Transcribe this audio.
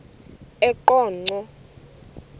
eqonco